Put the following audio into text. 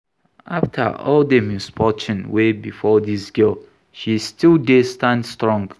After all the misfortune wey befall dis girl she still dey stand strong